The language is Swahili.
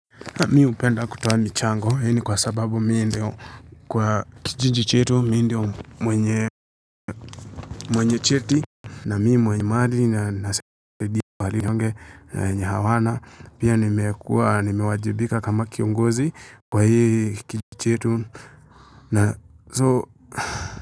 Mi hupenda kutoa michango hini kwa sababu mi ndio kwa kijinji chetu mi ndio mwenye mwenye cheti na mi mwenye madhi na nase kwa hali nyonge wenye hawana pia nimekua nimewajibika kama kiongozi kwa hii kijinji chetu na so.